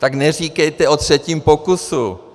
Tak neříkejte o třetím pokusu.